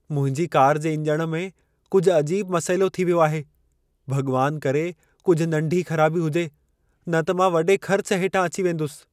मुंहिंजी कार जे इंजण में कुझु अजीब मसइलो थी वियो आहे। भॻवान करे कुझु नंढी ख़राबी हुजे, न त मां वॾे ख़र्च हेठां अची वेंदुसि।